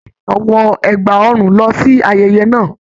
Aya Gomina wọ ẹgba ọrùn lọ sí ayẹyẹ náà.